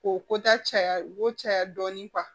K'o kota caya o ko caya dɔɔnin